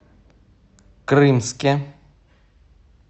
крымске